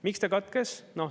Miks ta katkes?